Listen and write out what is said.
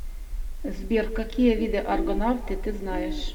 сбер какие виды аргонавты ты знаешь